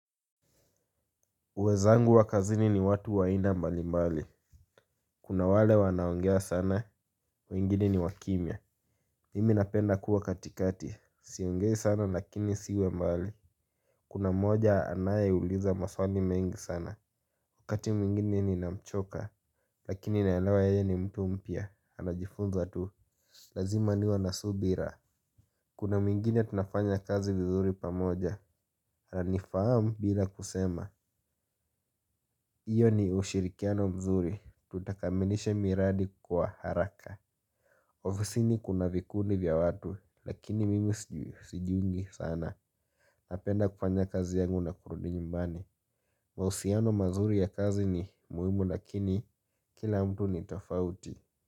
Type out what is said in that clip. Wenzangu wa kazini ni watu wa aina mbali mbali kuna wale wanao ongea sana, wengine ni wa kimya. Mimi napenda kuwa katikati siongei sana lakini siwi mbali kuna mmoja anaeuliza maswali mengi sana. Wakati mwingine ninamchoka lakini naelewa yeye ni mtu mpya anajifunza tu lazima niwe na subira. Kuna mwingine tunafanya kazi vizuri pamoja ananifahamu bila kusema. Hiyo ni ushirikiano mzuri tutakamilisha miradi kwa haraka. Ofisini kuna vikundi vya watu lakini mimi sijiungi sana. Napenda kufanya kazi yangu na kurudi nyumbani. Mahusiano mazuri ya kazi ni muhimu lakini kila mtu ni tofauti.